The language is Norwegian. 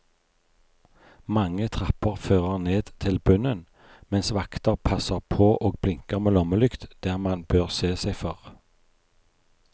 Mange trapper fører ned til bunnen, mens vakter passer på og blinker med lommelykt der man bør se seg for.